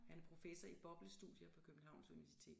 Han er professor i boblestudier på Københavns universitet